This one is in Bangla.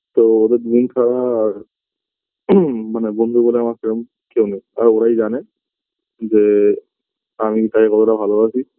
তো ওদের দুজন ছাড়া আর মানে বন্ধু বলে আমার সেরম কেউ নেই আর ওরাই জানে যে আমি তাকে কতটা ভালোবাসি